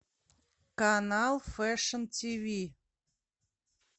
канал фэшн ти ви